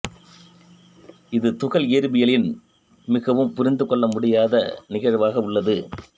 இது துகள் இயற்பியலில் மிகவும் புரிந்து கொள்ளமுடியாத நிகழ்வாக உள்ளது